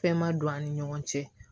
Fɛn ma don an ni ɲɔgɔn cɛ